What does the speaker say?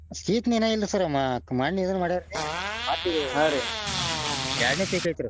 ಇನ್ನ ಇಲ್ರಿ sir ಮನ್ನೆ ಇದನ್ನ ಮಾಡ್ಯಾರಿ ಮತ್ತ ಈಗ ಎರಡ್ನೆ ಐತ್ರಿ.